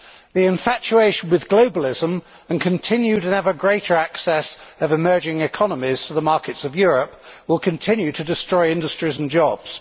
The infatuation with globalism, and with continued and ever greater access of emerging economies to the markets of Europe, will continue to destroy industries and jobs.